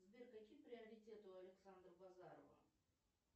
сбер какие приоритеты у александра базарова